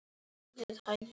Við látum kyrrt liggja